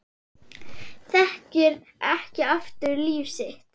Þekkir ekki aftur líf sitt